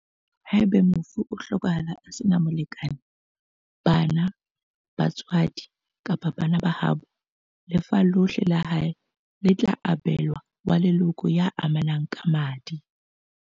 Haeba mofu o hlokahetse a sena molekane, bana, ba tswadi kapa bana ba haabo, lefa lohle la hae le tla abe lwa wa leloko ya amanang ka madi.